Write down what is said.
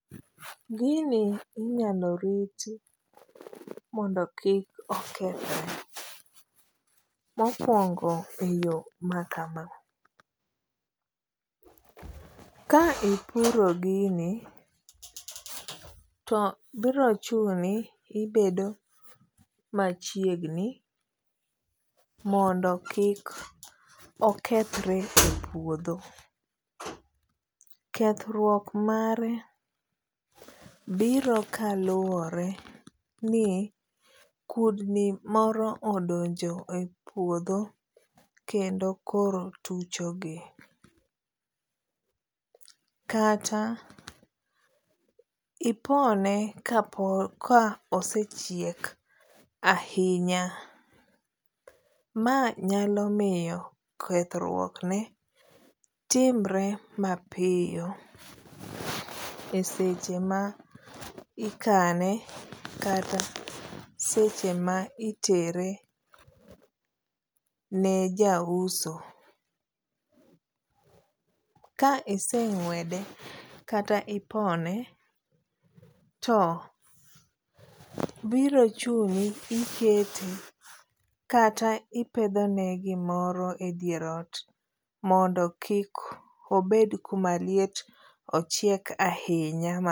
Gini inyalo riti mondo kik okethre. Mokuongo eyo makama, ka ipuro gini to biro chuni ibedo machiegni mondo kik okethre e pudho. Kethruok mare biro kaluwore ni kudni moro odonjo e puodho kendo koro tuchogi. Kata ipone ka pod ka osechiek ahinya. Ma nyalo miyo kethruokne timre mapiyo e seche ma ikane kata seche ma itere ne jauso. Ka ise ng'uede kata ipone to biro chuni kata ikete kata ipedhone gimoro edier ot mondo kik obed kuma liet ochieg ahinya ma